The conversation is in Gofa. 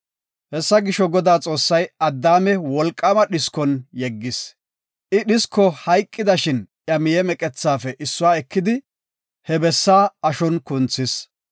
Hessa gisho, Godaa Xoossay Addaame wolqaama dhiskon yeggis. I dhisko hayqidashin iya miye meqethafe issuwa ekidi, he bessaa ashon kunthis.